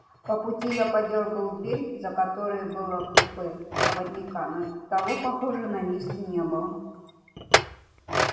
по пути я подёргал дверь за которой было купе проводника но того похоже на месте не было